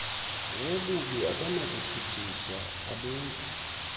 wobubi akanakutshutshiswa abenzi